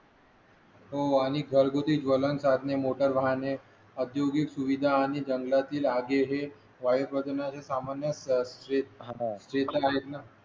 हो आणि घरगुती ज्वलन साधने मोटार वाहाणे औद्योगिक सुविधा आणि जंगलातील आगे हे वायू प्रदूषण सामान्य असतात